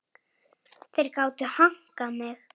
Þar gátu þeir hankað mig.